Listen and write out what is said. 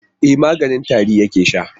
E, maganin tari yake sha.